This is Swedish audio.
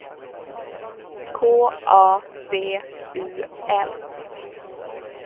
K A B U L